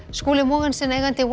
Skúli Mogensen eigandi